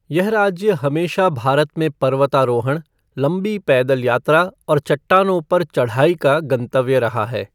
यह राज्य हमेशा भारत में पर्वतारोहण, लंबी पैदल यात्रा और चट्टानों पर चढ़ाई का गंतव्य रहा है।